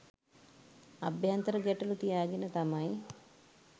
අභ්‍යන්තර ගැටළු තියාගෙන තමයි